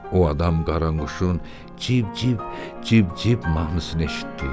O adam qaranquşun civ-civ, civ-civ mahnısını eşitdi.